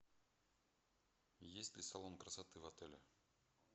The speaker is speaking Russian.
есть ли салон красоты в отеле